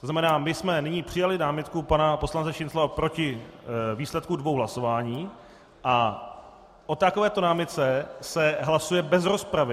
To znamená: My jsme nyní přijali námitku pana poslance Šincla proti výsledku dvou hlasování a o takovéto námitce se hlasuje bez rozpravy.